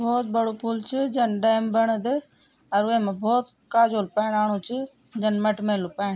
भौत बडू पुल च जन डेम बडद अर वैमा वैमा भौत काजोल पाणी आणुच जन मटमैलू पाणी ।